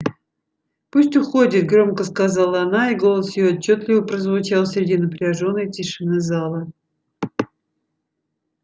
пусть уходит громко сказала она и голос её отчётливо прозвучал среди напряжённой тишины зала